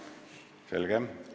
Selge.